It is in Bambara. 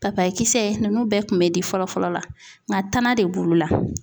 Papaye kisɛ nInnu bɛɛ kun bɛ di fɔlɔ fɔlɔ la nga tana de b'olu la .